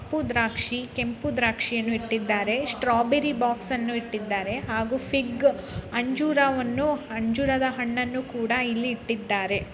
ಕಪ್ಪು ದ್ರಾಕ್ಷಿ ಕೆಂಪು ದ್ರಾಕ್ಷಿ ಇಟ್ಟಿದ್ದಾರೆ. ಸ್ಟ್ರಾಬೆರಿ ಬಾಕ್ಸಾನು ಇಟ್ಟಿದ್ದಾರೆ ಹಾಗು ಫಿಗ್ ಅಂಜೂ ಅಂಜೂರದ ಹಣ್ಣನು ಕೂಡ ಇಲ್ಲಿ ಇಟ್ಟಿದಾರೆ.